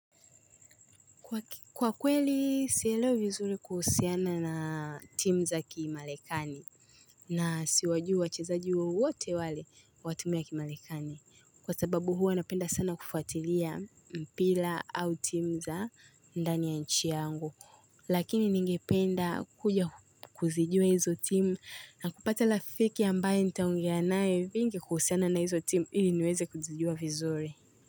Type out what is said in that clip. Kwa kweli, sielewi vizuri kuhusiana na timu za kimalekani na siwajui wachezaji wowote wale wa tumu ya kimalekani. Kwa sababu huwa napenda sana kufuatilia mpira au timu za ndani ya nchi yangu. Lakini ningependa kuja kuzijua hizo timu na kupata rafiki ambaye nitaongea naye vingi kuhusiana na hizo timu ili niweze kuzijua vizuri.